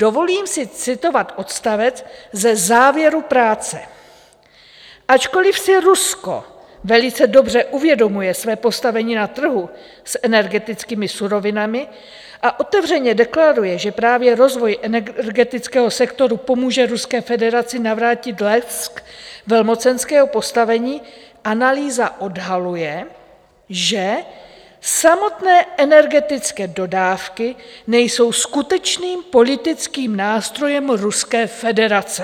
Dovolím si citovat odstavec ze závěru práce: Ačkoliv si Rusko velice dobře uvědomuje své postavení na trhu s energetickými surovinami a otevřeně deklaruje, že právě rozvoj energetického sektoru pomůže Ruské federaci navrátit lesk velmocenského postavení, analýza odhaluje, že samotné energetické dodávky nejsou skutečným politickým nástrojem Ruské federace.